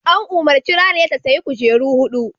An umarci Raliya ta "Sayi kujeru huɗu!''